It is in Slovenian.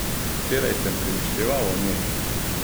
Včeraj sem premišljeval o njej.